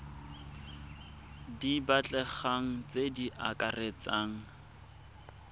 di batlegang tse di akaretsang